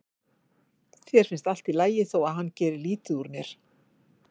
Þér finnst allt í lagi þó að hann geri lítið úr mér.